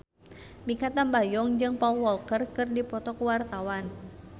Mikha Tambayong jeung Paul Walker keur dipoto ku wartawan